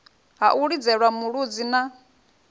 ha u lidzelwa mulodzi na